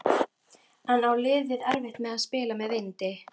En á liðið erfitt með að spila með vindi?